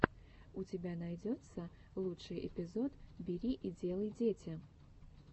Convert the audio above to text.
у тебя найдется лучший эпизод бери и делай дети